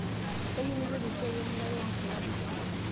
kayieu naiteru esiai emirare onkilani